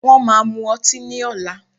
Wọ́n máa mu ọtí ní ọ̀la